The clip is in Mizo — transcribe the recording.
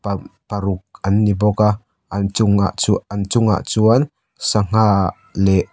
paruk an ni bawk a an chungah chu-an chungah chuan sangha leh --